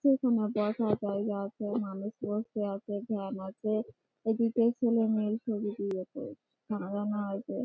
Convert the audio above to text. যেকোন বসা জায়গা আছে। মানুষ বসতে আসে। ফ্যান আছে । এদিকে ছেলে মেয়ের ছবি দিয়েছে । সাজানো আছে।